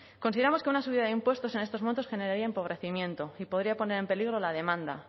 consideramos que una subida de impuestos en estos momentos generaría empobrecimiento y podría poner en peligro la demanda